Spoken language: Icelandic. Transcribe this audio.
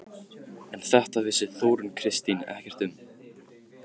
En þetta vissi Þórunn Kristín ekkert um.